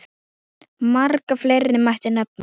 Marga fleiri mætti nefna.